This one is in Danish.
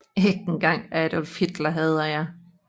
Ikke engang Adolf Hitler hader jeg